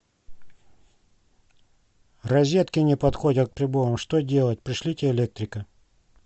розетки не подходят к приборам что делать пришлите электрика